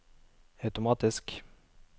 automatisk